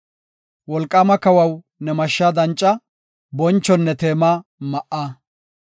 Wolqaama kawaw, ne mashshaa danca; bonchonne teema ma7a.